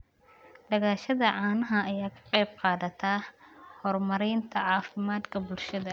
Dhaqashada caanaha ayaa ka qayb qaadata horumarinta caafimaadka bulshada.